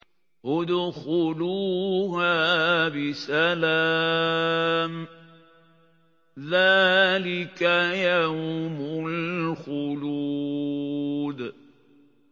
ادْخُلُوهَا بِسَلَامٍ ۖ ذَٰلِكَ يَوْمُ الْخُلُودِ